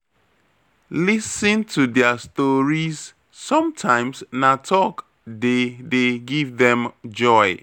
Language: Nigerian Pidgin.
Lis ten to their stories, sometimes na talk dey dey give dem joy.